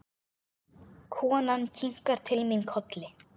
Konan kinkar til mín kolli.